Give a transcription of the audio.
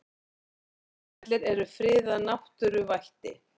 Hveravellir eru friðað náttúruvætti.